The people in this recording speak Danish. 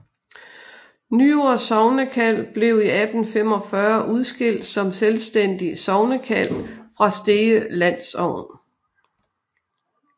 Nyord sognekald blev i 1845 udskilt som selvstændigt sognekald fra Stege landsogn